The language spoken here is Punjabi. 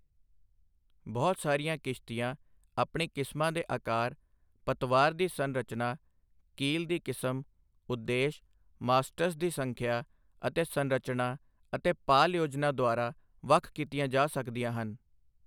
ਬਹੁਤ ਸਾਰੀਆਂ ਕਿਸ਼ਤੀਆਂ ਆਪਣੀ ਕਿਸਮਾਂ ਦੇ ਆਕਾਰ, ਪਤਵਾਰ ਦੀ ਸੰਰਚਨਾ, ਕੀਲ ਦੀ ਕਿਸਮ, ਉਦੇਸ਼, ਮਾਸਟਸ ਦੀ ਸੰਖਿਆ ਅਤੇ ਸੰਰਚਨਾ ਅਤੇ ਪਾਲ ਯੋਜਨਾ ਦੁਆਰਾ ਵੱਖ ਕੀਤੀਆ ਜਾ ਸਕਦੀਆਂ ਹਨ I